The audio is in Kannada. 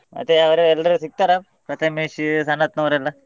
ಮತ್ತೆ ಅವ್ರು ಎಲ್ರು ಸಿಕ್ತಾರಾ ಪ್ರತಮೇಶ್, ಸನತ್ ನವರೆಲ್ಲಾ.